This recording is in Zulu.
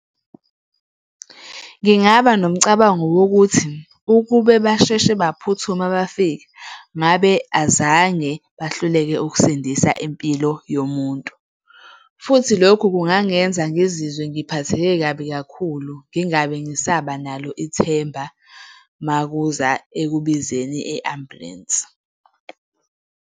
Ngingaba nomcabango wokuthi ukube basheshe baphuthuma bafika ngabe azange bahluleke ukusindisa impilo yomuntu. Futhi lokhu kungangenza ngizizwe ngiphatheke kabi kakhulu, ngingabe ngisaba nalo ithemba uma kuza ekubizeni i-ambulensi.